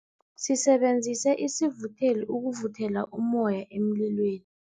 Sisebenzise isivutheli ukuvuthela ummoya emlilweni.